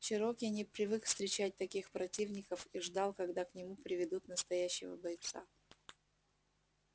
чероки не привык встречать таких противников и ждал когда к нему приведут настоящего бойца